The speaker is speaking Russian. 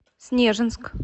снежинск